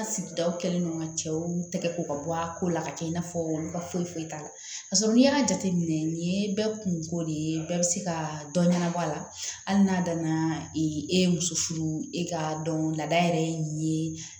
An sigidaw kɛlen don ka cɛw tɛgɛ ko ka bɔ a ko la ka kɛ i n'a fɔ olu ka foyi foyi t'a la ka sɔrɔ n'i y'a jateminɛ nin ye bɛɛ kun ko de ye bɛɛ bɛ se ka dɔ ɲɛnabɔ a la hali n'a danna e ye muso furu e ka dɔn lada yɛrɛ ye nin ye